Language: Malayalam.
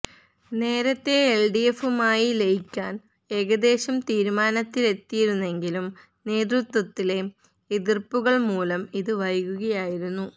നേരത്തെ എല്ഡിഎഫുമായി ലയിക്കാന് ഏകദേശ തീരുമാനത്തിലെത്തിയിരുന്നെങ്കിലും നേതൃത്വത്തിലെ എതിര്പ്പുകള് മൂലം ഇത് വൈകുകയായിരുന്നു